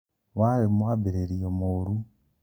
warĩ mwambĩrĩrio mũru